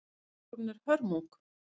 Skúlptúrinn er hörmung.